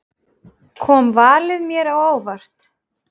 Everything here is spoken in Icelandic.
Kom valið mér á óvart?